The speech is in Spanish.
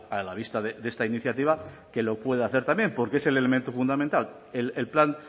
a la vista de esta iniciativa que lo pueda hacer también porque es el elemento fundamental el plan